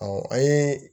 Ɔ an ye